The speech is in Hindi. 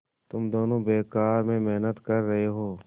तुम दोनों बेकार में मेहनत कर रहे हो